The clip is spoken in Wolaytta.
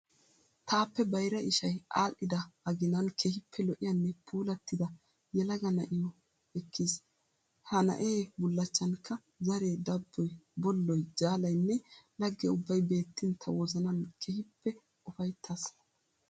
Taappe bayira ishayi aadhdhida aginan keehippe lo'iyanne puullatida yelaga nayyiyo ekkiis. He naye bullachchanikka zaree, dabboyi, bolloyi, jaalayinne lagge ubbay beettiin ta wozanan keehippe ufayittaas.